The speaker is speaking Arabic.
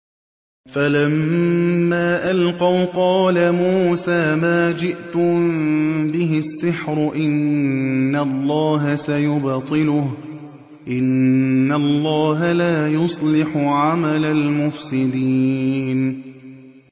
فَلَمَّا أَلْقَوْا قَالَ مُوسَىٰ مَا جِئْتُم بِهِ السِّحْرُ ۖ إِنَّ اللَّهَ سَيُبْطِلُهُ ۖ إِنَّ اللَّهَ لَا يُصْلِحُ عَمَلَ الْمُفْسِدِينَ